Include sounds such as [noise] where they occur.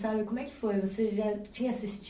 [unintelligible] Como é que foi, você já tinha